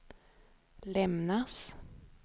lämnas